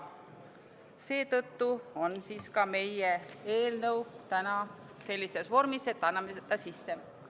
Seetõttu on meie eelnõu täna sellises vormis, et anname ta sisse.